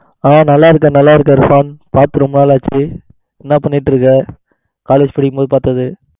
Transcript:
ஹா நல்ல இருக்கேன் நல்ல இருக்கேன் இர்பான் பாத்து ரொம்ப நாள் ஆச்சி என்ன பண்ணிடு இருக்க college படிக்கும் போது பாத்தது